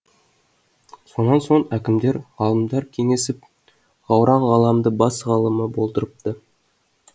сонан соң әкімдер ғалымдар кеңесіп ғауран ғалымды бас ғалымы болдырыпты